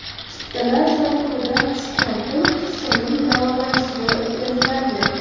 Chiptalar sotuvidan tushgan pul qizchaning davolanishiga o‘tkaziladi.